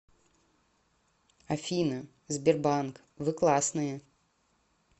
афина сбербанк вы классные